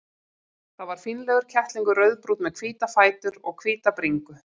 Það var fínlegur kettlingur, rauðbrúnn með hvíta fætur og hvíta bringu.